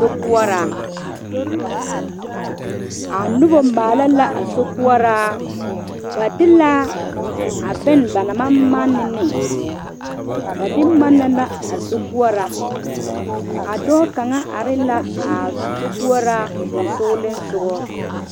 Sokoɔraa, a noba maale la a sokoɔraa ba de la a boŋ ba naŋ maŋ mane ne ba de manna la a sokoɔraa a dɔɔ kaŋa are la a sokoɔraa sonsogle soga.